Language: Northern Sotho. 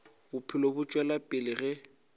bophelo bo tšwela pele ge